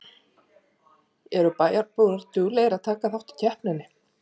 Eru bæjarbúar duglegir að taka þátt í keppninni?